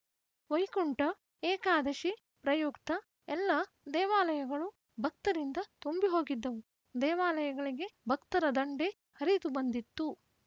ವೈಕುಂಠ ಏಕಾದಶಿ ಪ್ರಯುಕ್ತ ಎಲ್ಲಾ ದೇವಾಲಯಗಳು ಭಕ್ತರಿಂದ ತುಂಬಿಹೋಗಿದ್ದವು ದೇವಾಲಯಗಳಿಗೆ ಭಕ್ತರ ದಂಡೇ ಹರಿತುಬಂದಿತ್ತು